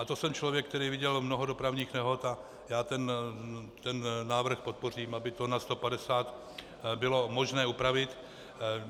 A to jsem člověk, který viděl mnoho dopravních nehod, a já ten návrh podpořím, aby to na 150 bylo možné upravit.